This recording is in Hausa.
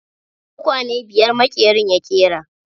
Tukwane biyar maƙerin ya ƙera.